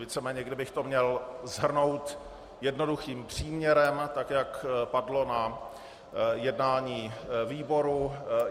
Víceméně kdybych to měl shrnout jednoduchým příměrem, tak jak padlo na jednání výboru.